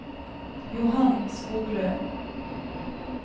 Johan Skoglund